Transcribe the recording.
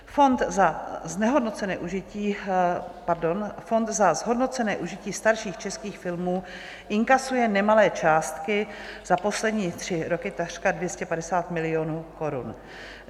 Fond za zhodnocené užití starších českých filmů inkasuje nemalé částky, za poslední tři roky takřka 250 milionů korun.